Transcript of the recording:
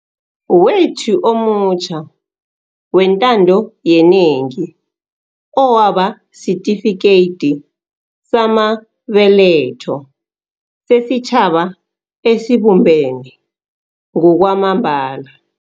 wethu omutjha wentando yenengi owaba sitifikeyidi samabe letho sesitjhaba esibumbene ngokwamambala.